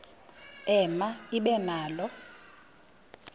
ema ibe nalo